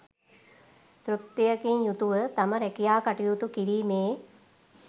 තෘප්තියකින් යුතුව තම රැකියා කටයුතු කිරීමේ